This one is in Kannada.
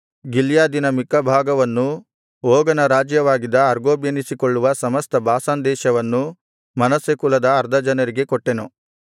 ಗಿಲ್ಯಾದಿನ ಮಿಕ್ಕ ಭಾಗವನ್ನೂ ಓಗನ ರಾಜ್ಯವಾಗಿದ್ದ ಅರ್ಗೋಬ್ ಎನಿಸಿಕೊಳ್ಳುವ ಸಮಸ್ತ ಬಾಷಾನ್ ದೇಶವನ್ನೂ ಮನಸ್ಸೆ ಕುಲದ ಅರ್ಧ ಜನರಿಗೆ ಕೊಟ್ಟೆನು